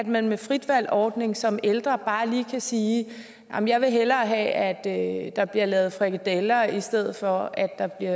man med fritvalgsordningen som ældre bare lige kan sige jeg vil hellere have at der bliver lavet frikadeller i stedet for at der bliver